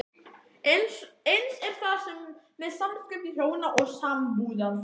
Eins er það með samskipti hjóna og sambúðarfólks.